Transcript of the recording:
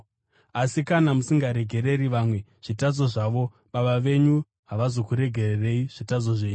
Asi kana musingaregereri vamwe zvitadzo zvavo, Baba venyu havazokuregererai zvitadzo zvenyu.